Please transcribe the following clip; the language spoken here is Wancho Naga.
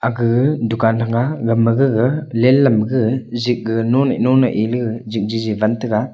aka gag dukan thanga gagma gaga len lam gag zik gag nonaih nonaih eele gag jipjijip ban taga.